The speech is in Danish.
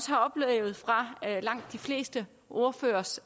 har oplevet fra langt de fleste ordføreres